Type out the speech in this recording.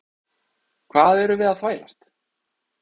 Hvað erum við að þvælast?